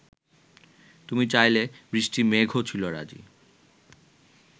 তুমি চাইলে বৃষ্টি মেঘও ছিল রাজী